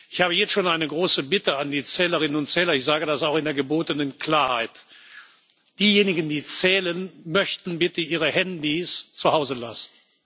Ich habe jetzt schon eine große Bitte an die Zählerinnen und Zähler, und ich sage das auch in der gebotenen Klarheit Diejenigen, die zählen, möchten bitte ihre Mobiltelefone zuhause lassen.